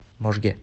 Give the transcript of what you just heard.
можге